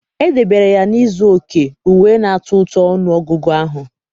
Edebere ya na izu oke, uwe na-atọ ụtọ ọnụ ọgụgụ ahụ.